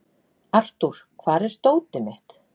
Arthur, hvar er dótið mitt?